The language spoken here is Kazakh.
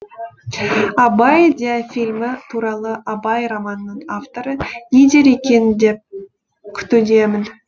абай диафильмі туралы абай романының авторы не дер екен деп күтудемін